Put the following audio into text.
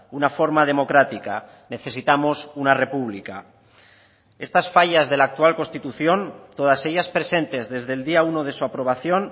una forma democrática necesitamos una república estas fallas de la actual constitución todas ellas presentes desde el día uno de su aprobación